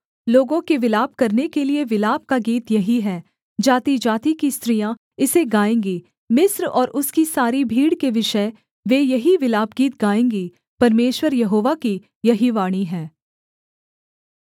लोगों के विलाप करने के लिये विलाप का गीत यही है जातिजाति की स्त्रियाँ इसे गाएँगी मिस्र और उसकी सारी भीड़ के विषय वे यही विलापगीत गाएँगी परमेश्वर यहोवा की यही वाणी है